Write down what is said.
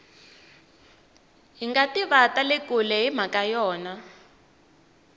hingativa tale kule himhaka ya yona